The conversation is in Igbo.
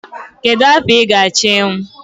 Kedu afọ ị ga-achọ ịnwụ?